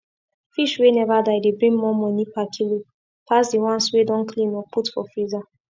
fish wey never die dey bring more money per kilo pass the ones wey don clean or put for freezer